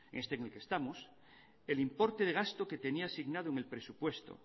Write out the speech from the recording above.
este en el que estamos el importe de gasto que tenía asignado en el presupuesto